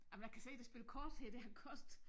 Ej men jeg kan se det spil kort her det har kostet